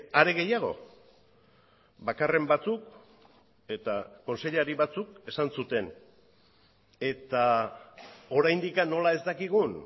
are gehiago bakarren batzuk eta kontseilari batzuk esan zuten eta oraindik nola ez dakigun